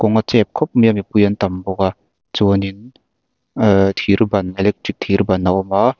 kawng a chep khawp mai a mipui an tam bawk a chuan in ah thir ban electric thir ban a awm a.